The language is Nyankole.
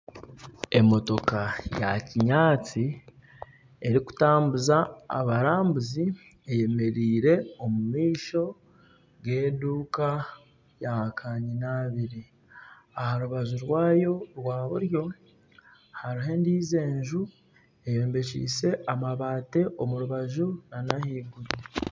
Emotoka ya kinyaatsi erikutambuza abarambuzi eyemereire omu maisho g'eduuka ya kanyina abiri. Aha rubaju rwayo rwa buryo hariho endiijo enju eyombekise amabaati omu rubaju nana ahaiguru.